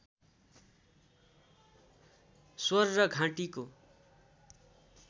स्वर र घाँटीको